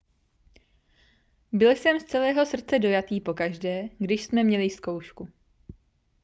byl jsem z celého srdce dojatý pokaždé když jsme měli zkoušku